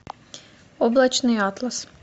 облачный атлас